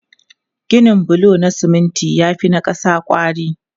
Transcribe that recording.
Ginin bulo na siminti ya fi na ƙasa kwari.